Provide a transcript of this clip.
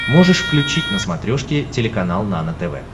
можешь включить на смотрешке телеканал нано тв